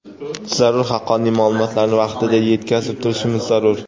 zarur haqqoniy ma’lumotlarni vaqtida yetkazib turishimiz zarur.